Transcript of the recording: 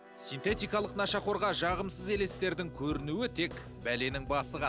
синтетикалық нашақорға жағымсыз елестердің көрінуі тек бәленің басы ғана